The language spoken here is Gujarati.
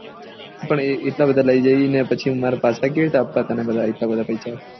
પણ એટલા બધા લઇ જાય ને પછી પાછા કેવી રીતે આપવા તને બધા આટલા બધા પેસા